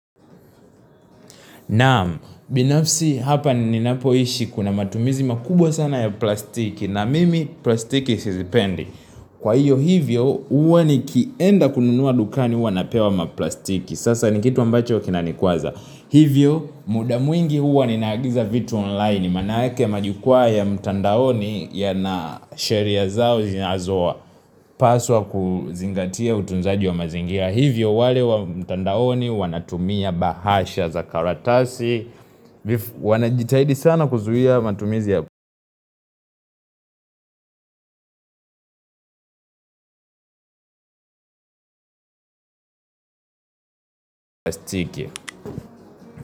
Naam, binafsi hapa ninapoishi kuna matumizi makubwa sana ya plastiki. Na mimi, plastiki sizipendi. Kwa hiyo hivyo, huwa nikienda kununua dukani huwa napewa maplastiki. Sasa nikitu ambacho kinanikwaza. Hivyo, mudamwingi huwa ninaagiza vitu online. Manaake majukwa ya mtandaoni ya na sheria zao zinazoa paswa kuzingatia utunzaji wa mazingia. Hivyo wale wa mtandaoni wanatumia bahasha za karatasi. Wanajitahidi sana kuzuia matumizi ya plastiki.